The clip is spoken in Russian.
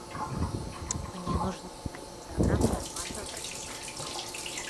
мне нужен один килограмм нормального бразильского кофе